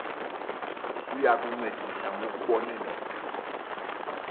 uya kuncedisa ngokubonelela